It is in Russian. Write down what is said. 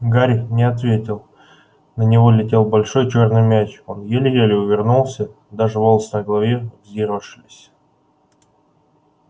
гарри не ответил на него летел большой чёрный мяч он еле-еле увернулся даже волосы на голове взъерошились